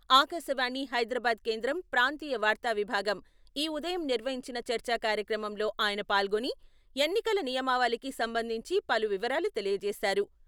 ఆకాశవాణి హైదరాబాద్ కేంద్రం ప్రాంతీయ వార్త విభాగం ఈ ఉదయం నిర్వహించిన చర్చా కార్యక్రమంలో ఆయన పాల్గొని ఎన్నికల నియమావళికి సంబంధించి పలు వివరాలు తెలియజేశారు.